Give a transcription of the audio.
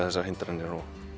þessar hindranir